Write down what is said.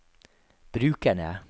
brukerne